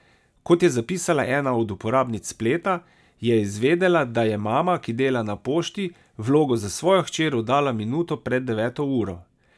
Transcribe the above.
Kot je zapisala ena od uporabnic spleta, je izvedela, da je mama, ki dela na pošti, vlogo za svojo hčer oddala minuto pred deveto uro.